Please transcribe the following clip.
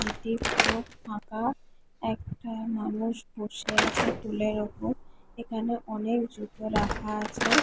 এটি পুরো ফাঁকাএকটা মানুষ বসে আছে টুলের উপর এখানে অনেক জুতো রাখা আছে।